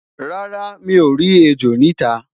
rárá, mi o rí ẹjọ nita